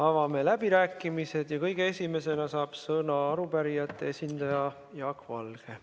Avame läbirääkimised ja kõige esimesena saab sõna arupärijate esindaja Jaak Valge.